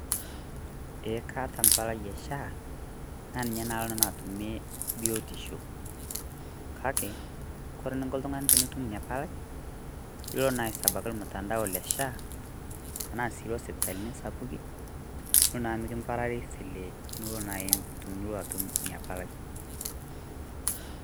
Eeh kaata mpalai e SHA naa ninye naa aloo nanu atumie biotisho. Kaki kore nukoo ltung'ani tunutum enya mpalai eloo naa aisabaki mtandao le SHA, tana sii eloo sipitalini sapuki niloo naa mikiparari file niloo naa aiim tunuo atum nia mpalai.